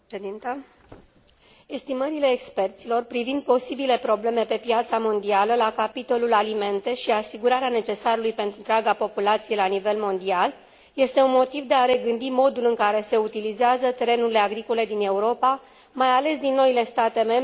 Estimările experților privind posibile probleme pe piața mondială la capitolul alimente și asigurarea necesarului pentru întreaga populație la nivel mondial este un motiv de a regândi modul în care se utilizează terenurile agricole din Europa, mai ales din noile state membre, printre care și România.